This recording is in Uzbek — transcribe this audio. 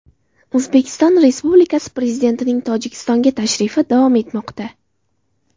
O‘zbekiston Respublikasi Prezidentining Tojikistonga tashrifi davom etmoqda.